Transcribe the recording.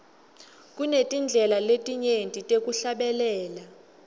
kunetindlela letinyenti tekuhlabela